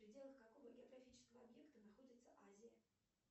в пределах какого географического объекта находится азия